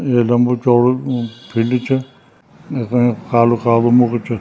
ये लम्बू चौडू फील्ड च इखम कालू कालू मुख भि च।